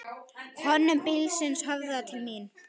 Hönnun bílsins höfðaði til mín.